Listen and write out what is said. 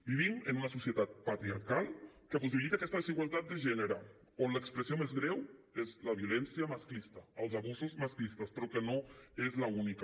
vivim en una societat patriarcal que possibilitat aquesta desigualtat de gènere on l’expressió més greu és la violència masclista els abusos masclistes però que no és l’única